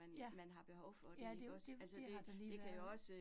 Ja. Ja, det jo, det det har der lige været